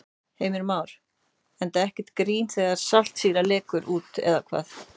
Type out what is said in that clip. Heimir Már: Enda ekkert grín þegar saltsýra lekur út eða hvað?